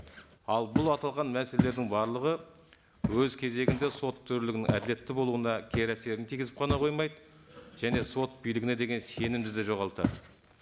ал бұл аталған мәселелердің барлығы өз кезегінде сот төрелігінің әділетті болуына кері әсерін тигізіп қана қоймайды және сот билігіне деген сенімді де жоғалтады